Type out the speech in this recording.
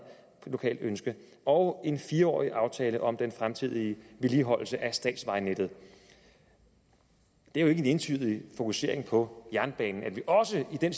lokalt ønske og en fire årig aftale om den fremtidige vedligeholdelse af statsvejnettet det er jo ikke en ensidig fokusering på jernbanen at vi også i den